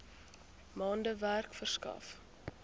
maande werk verskaf